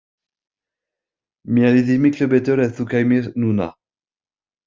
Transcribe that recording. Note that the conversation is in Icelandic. Mér liði miklu betur ef þú kæmir núna